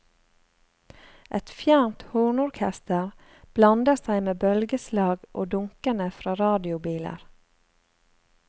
Et fjernt hornorkester blander seg med bølgeslag og dunkene fra radiobiler.